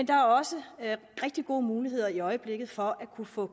der også er rigtig gode muligheder i øjeblikket for at kunne få